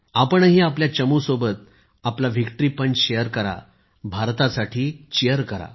आपणही आपल्या चमू सोबत आपला व्हिक्टरी पंच शेयर करा भारतासाठी चीयर करा